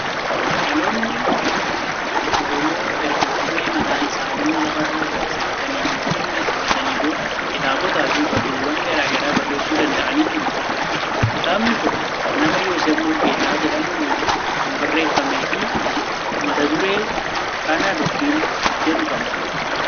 dhaloonni Oromoo erga qubee mataa isaanii lafa gabsiifatanii yookiin beeksifatanii booda, kitaabotaa fi barruuwwan garaa garaa barreessuu danda'anii jiru. Kitaabni kun nama Yooseef Muluugeetaa jedhamuun kan barreeffamee fi mata duree 'Kana Dubbiin' jedhu qaba.